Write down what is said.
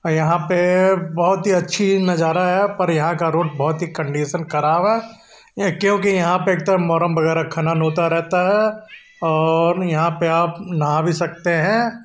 यहाँ पे बहुत ही अच्छी नजारा है पर यहाँ का रोड बहुत ही कंडीशन खराब है क्योंकि यहां पर एक तो मोरंग वगैरा खनन होता रहता है और यहाँ पर आप नहा भी सकते हैं।